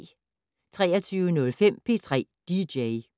23:05: P3 dj